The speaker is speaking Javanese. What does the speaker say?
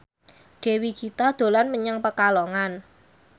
Dewi Gita dolan menyang Pekalongan